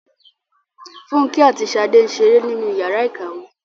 Fúnkẹ́ àti Ṣadé ń ṣeré nínú ìyàrá-ìkàwé.